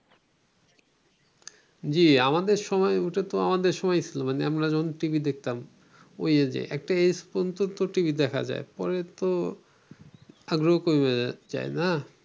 জি, আমাদের সময়, ওটাতো আমাদের সময়ই ছিল, মানে আমরা যখন টিভি দেখতাম, ঐ age এ. একটা age পর্যন্ত তো টিভি দেখা যায়, পরে তো আগ্রেহ কমে যায়, তাই না?